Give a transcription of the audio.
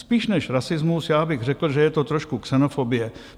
Spíš než rasismus já bych řekl, že je to trošku xenofobie.